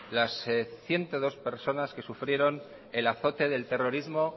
las ciento dos personas que sufrieron el azote del terrorismo